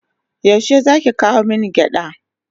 Yaushe zaki kawo min gyada?